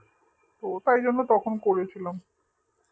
ও তাই জন্য তখন করেছিলাম